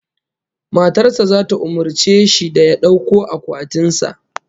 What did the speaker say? Matar sa zata umurce shi da ya dauko akwatin sa